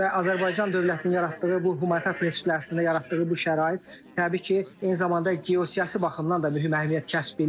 Və Azərbaycan dövlətinin yaratdığı bu humanitar prinsiplər əsasında yaratdığı bu şərait təbii ki, eyni zamanda geosiyasi baxımdan da bir əhəmiyyət kəsb edir.